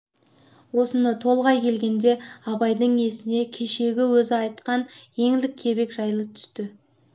осыны толғай келгенде абайдың есіне кешегі өзі айтқан еңлік кебек жайы түсті